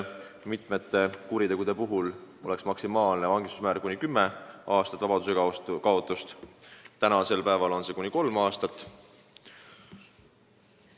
Mitme kuriteo puhul oleks maksimaalne karistusmäär kuni kümme aastat vabadusekaotust, praegu on see kuni kolm aastat.